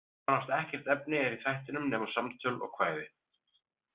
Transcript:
Nánast ekkert efni er í þættinum nema samtöl og kvæði.